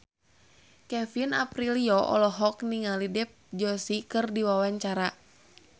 Kevin Aprilio olohok ningali Dev Joshi keur diwawancara